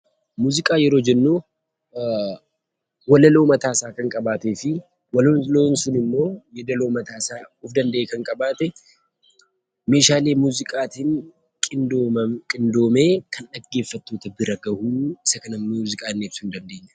Muuziqaa yeroo jennu walaloo mataasaa kan qabaatee fi walaloon sun immoo yeedaloo mataasaa danda'e kan qabaate, meeshaalee muuziqaatiin qindoomee kan dhaggeeffattoota bira gahu isa kana muuziqaa jennee ibsuu ni dandeenya.